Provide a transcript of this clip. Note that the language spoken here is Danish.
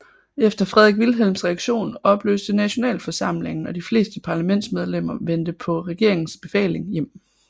Efter Frederik Wilhelms reaktion opløstes nationalforsamlingen og de fleste parlamentsmedlemmer vendte på regeringens befaling hjem